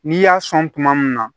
N'i y'a sɔn kuma min na